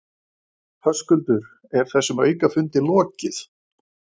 Höskuldur, er þessum aukafundi lokið?